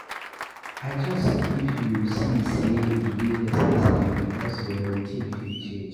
Adjust if you see sey e dey necessary because your routine fit change